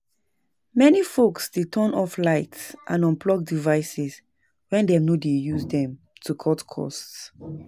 Many folks dey turn off lights and unplug devices when dem no dey use dem to cut costs.